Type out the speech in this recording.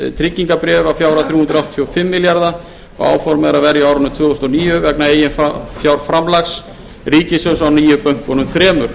tryggingabréf að fjárhæð þrjú hundruð áttatíu og fimm milljarða áformað er að verja á árinu tvö þúsund og níu vegna eigin fjárframlags ríkissjóðs á nýju bönkunum þremur